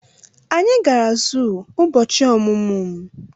Anyị gara zuu ụbọchị ọmụmụ m.